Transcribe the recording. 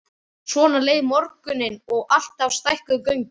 Svona leið morgunninn og alltaf stækkuðu göngin.